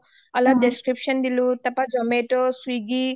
অলপ description দিলোঁ তাৰ পা জোমাটো চুইগি